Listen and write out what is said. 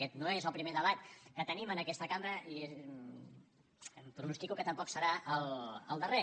aquest no és el primer debat que tenim en aquesta cambra i pronostico que tampoc serà el darrer